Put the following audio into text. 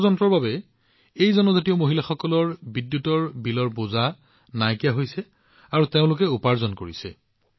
সৌৰ যন্ত্ৰৰ বাবে এই জনজাতীয় মহিলাসকলে বিদ্যুতৰ বিলৰ বোজা বহন কৰিব নালাগে আৰু তেওঁলোকে উপাৰ্জন কৰি আছে